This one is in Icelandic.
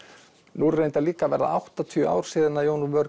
nú eru reyndar líka að verða áttatíu ár síðan Jón úr vör